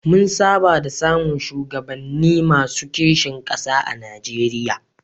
Mun saba da samun shugabanni masu kishin ƙasa a Nijeriya.